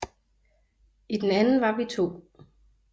I den anden var vi to